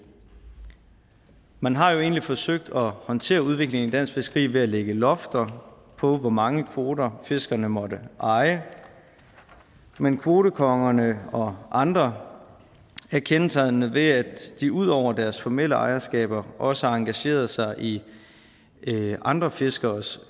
man har jo egentlig forsøgt at håndtere udviklingen i dansk fiskeri ved at lægge lofter på hvor mange kvoter fiskerne måtte eje men kvotekongerne og andre er kendetegnet ved at de ud over deres formelle ejerskaber også engagerede sig i andre fiskeres